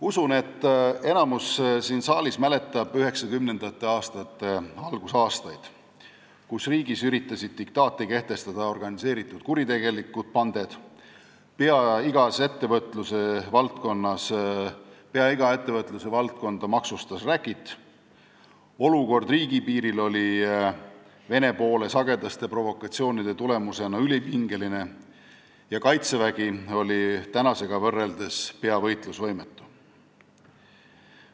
Usun, et enamik siin saalis mäletab 1990-ndate algust, kui riigis üritasid diktaati kehtestada organiseeritud kuritegelikud banded, pea iga ettevõtlusvaldkonda maksustas räkit, olukord riigipiiril oli Vene poole sagedaste provokatsioonide tulemusena ülipingeline ja kaitsevägi oli tänasega võrreldes peaaegu võitlusvõimetu.